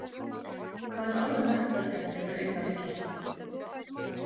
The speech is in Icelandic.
Það er alveg nægt verkefni fyrir eina litla stúlku.